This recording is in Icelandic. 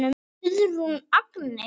Guðrún Agnes.